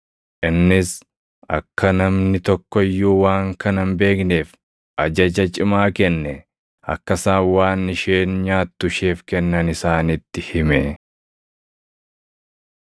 Innis akka namni tokko iyyuu waan kana hin beekneef ajaja cimaa kenne; akka isaan waan isheen nyaattu isheef kennan isaanitti hime.